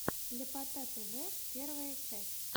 ляпота тв первая часть